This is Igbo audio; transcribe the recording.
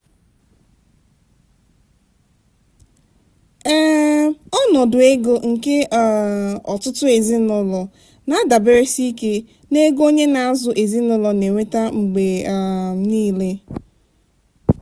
um ọnọdụ ego nke um ọtụtụ ezinụlọ na-adaberesi ike n'ego onye na-azụ ezinụlọ na-enweta mgbe um niile.